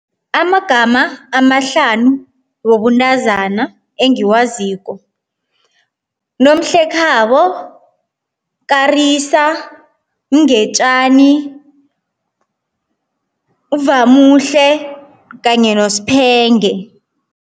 Amagama amahlanu wobuntazana engiwaziko. Nomhlekhabo, Karisa, Mngetjani, uVamuhle kanye noSphenge.